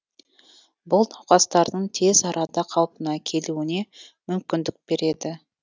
бұл науқастардың тез арада қалпына келуіне мүмкіндік береді